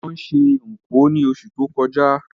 Wón se Nkwo ni osù to kojá